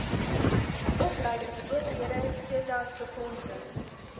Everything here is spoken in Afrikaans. opleingsowerhede setas befondsing